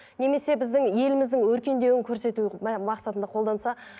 немесе біздің еліміздің өркендеуін көрсету мақсатында қолданса